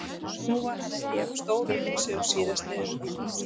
Nú var hann ekki jafn stór uppá sig og síðast þegar við hittumst.